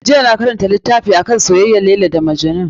Jiya na karanta littafi akan soyayyar Laila da Majnun.